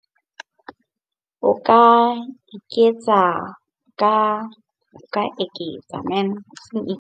O ka iketsa ka eketsa .